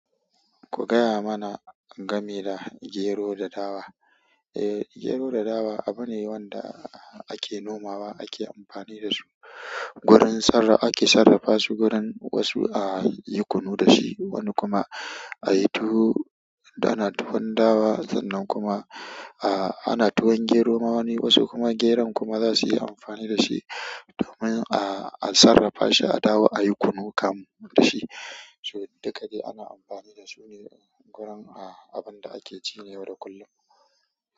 Ku gaya mana game da gero da dawa. Eh, gero da dawa abune wanda ake nomawa, ake amfani da su. Gurin sarra ake sarrafa su, gurin wasu a yi kunu da shi, wani kuma a yi tuwo. Dana tuwon dawa sannan kuma a ana tuwon gero ma wani wasu kuma geron kuma za su yi amfani da shi domin a sarafa shi a dawo ayi kunun kamu dashi so, duka dai ana amfani da shi ne gurin abin da ake ci na yau da kullun.